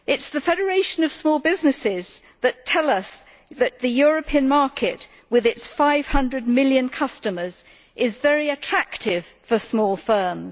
The Federation of Small Businesses tells us that the European market, with its 500 million customers, is very attractive for small firms.